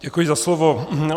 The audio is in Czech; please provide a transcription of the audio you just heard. Děkuji za slovo.